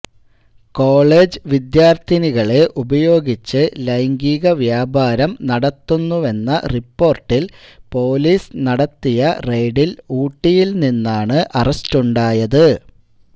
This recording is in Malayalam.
കോളജ് വിദ്യാർത്ഥിനികളെ ഉപയോഗിച്ച് ലൈംഗിക വ്യാപാരം നടത്തുന്നുവെന്ന റിപ്പോർട്ടിൽ പൊലീസ് നടത്തിയ റെയ്ഡിൽ ഊട്ടിയിൽ നിന്നാണ് അറസ്റ്റുണ്ടായത്